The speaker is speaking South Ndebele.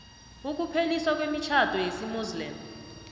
ukupheliswa kwemitjhado yesimuslimu